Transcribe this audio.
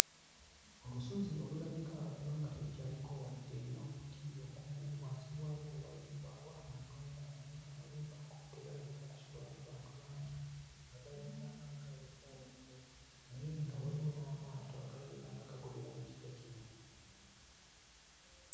Olusozi olulabika okuba nga terukyaliko wadde n'omuti ogumu. Wansi waalwo wazimbawo amayumba naye ng'amayumba ago tegalabika kusulwamu bantu bangi. Nga galabika nga agalekwa awo ettayo, naye nga waliwo n'amaato agalabika nga gagobera mu kifo kino.